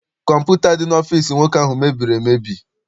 Kọmputa dị n'ọfịịsi nwoke ahụ mebiri emebi.